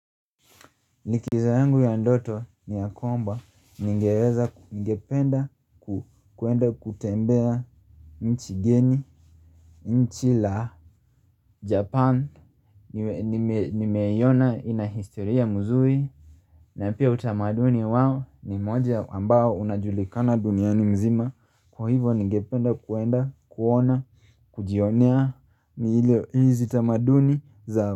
Likizo yangu ya ndoto ni ya kwamba ningependa kwenda kutembea nchi la japan nimeiona inahistoria mzuri na pia utamaduni wao ni moja ambao unajulikana duniani mzima kwa hivyo ningependa kwenda kujionea hizi utamaduni zao.